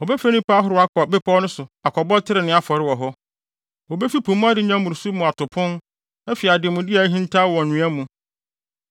Wɔbɛfrɛ nnipa ahorow akɔ bepɔw no so kɔbɔ trenee afɔre wɔ hɔ; wobefi po mu adenya mmoroso mu ato pon afi ademude a ahintaw wɔ nwea mu.”